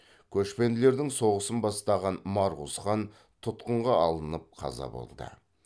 көшпенділердің соғысын бастаған марқұз хан тұтқынға алынып қаза болды